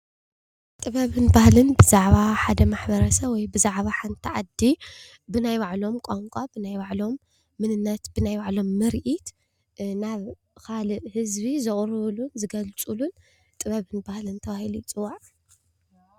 ጥበብን ባህልን ብዛዕባ ሓደ ማሕበረ ሰብ ወይ ብዛዕባ ሓንቲ ዓዲ ብናይ ባዕሎም ቋንቋ፣ ብናይ ባዕሎም መንነነት፣ ብናይ ባዕሎም ምርኢት ናብ ካሊእ ህዝቢ ዘቕርብሉን ዝገልፅሉ ጥበብን ባህልን ተባሂሉ ይፅዋዕ።